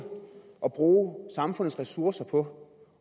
at bruge samfundets ressourcer på